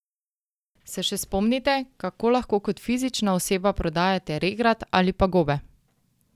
Se še spomnite, kako lahko kot fizična oseba prodajate regrat ali pa gobe?